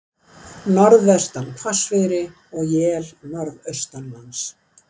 Norðvestan hvassviðri og él norðaustanlands